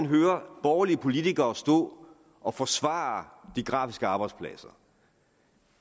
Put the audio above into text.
hører borgerlige politikere stå og forsvare de grafiske arbejdspladser